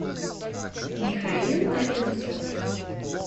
михаил одинцов